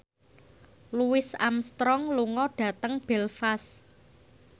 Louis Armstrong lunga dhateng Belfast